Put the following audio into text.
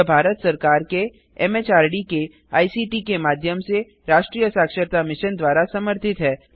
यह भारत सरकार एमएचआरडी के आईसीटी के माध्यम से राष्ट्रीय साक्षरता मिशन द्वारा समर्थित है